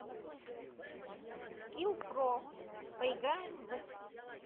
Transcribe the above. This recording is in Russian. скилл про поиграем в